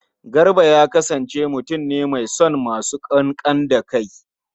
Garba ya kasance mutun ne mai son masu ƙanƙan da kai.